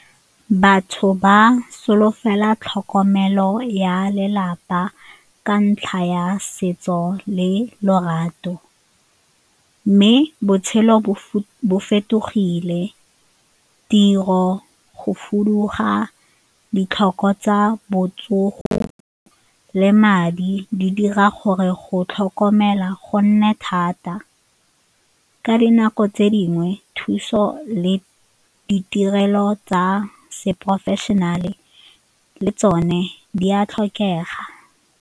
Batho ba solofela tlhokomelo ya lelapa ka ntlha ya setso le lorato mme botshelo bo fetogile, tiro, go fuduga, ditlhoko tsa botsogo le madi di dira gore go tlhokomela go nne thata. Ka dinako tse dingwe thuso le ditirelo tsa se-professional-e le tsone di a tlhokega.